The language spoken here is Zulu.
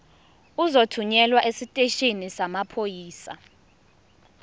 uzothunyelwa esiteshini samaphoyisa